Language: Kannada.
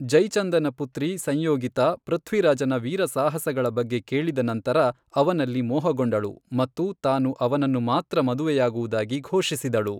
ಜೈಚಂದನ ಪುತ್ರಿ ಸಂಯೋಗಿತಾ ಪೃಥ್ವಿರಾಜನ ವೀರ ಸಾಹಸಗಳ ಬಗ್ಗೆ ಕೇಳಿದ ನಂತರ ಅವನಲ್ಲಿ ಮೋಹಗೊಂಡಳು ಮತ್ತು ತಾನು ಅವನನ್ನು ಮಾತ್ರ ಮದುವೆಯಾಗುವುದಾಗಿ ಘೋಷಿಸಿದಳು.